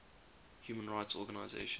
human rights organisations